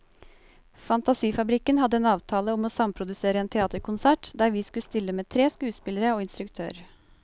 Fantasifabrikken hadde en avtale om å samprodusere en teaterkonsert der vi skulle stille med tre skuespillere og instruktør.